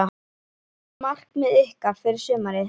Hvert er markmið ykkar fyrir sumarið?